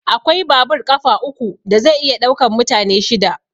Akwai babur ƙafa uku da zai iya ɗaukan mutane shida.